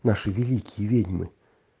наши великие ведьмы